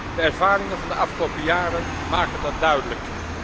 De ervaringen van de afgelopen jaren maken dat duidelijk.